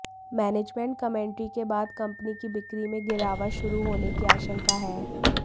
management commentary के बाद company की बिक्री में गिरावट शुरू होने की आशंका है